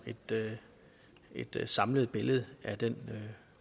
et samlet billede af den